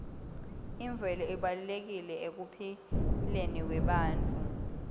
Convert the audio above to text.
imvelo ibalulekile ekuphileni kwebantfu